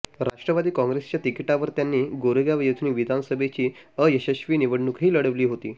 राष्ट्रवादी काँग्रेसच्या तिकीटावर त्यांनी गोरेगाव येथून विधानसभेची अयशस्वी निवडणूकही लढविली होती